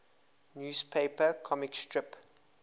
newspaper comic strip